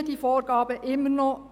Stimmen die Vorgaben immer noch?